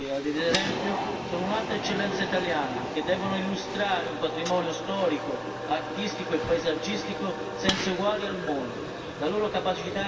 Le guide turistiche, ad esempio, altra eccellenza italiana, devono illustrare un patrimonio storico, artistico e paesaggistico senza eguali al mondo.